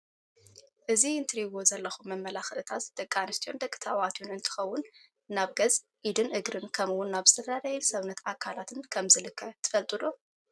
እዚ እትሪእዎ ዘለኹም መመላኺዒታት ደቂ አንስትዮን ደቂ ተባዕትዮን እንትኸውን ናብ ገፅ፣ ኢድን እግርን ከምእውን ናብ ዝተፈላለየ ሰውነት ኣካላትን ከም ዝልከ ትፈልጡ ዶ?